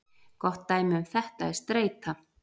Gott dæmi um þetta er streita.